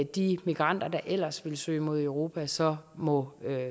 de migranter der ellers ville søge mod europa så må